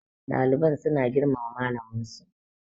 ɗaliban suna girmama malaminsu